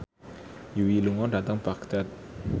Yui lunga dhateng Baghdad